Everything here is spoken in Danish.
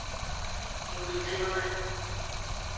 Judy Timmermann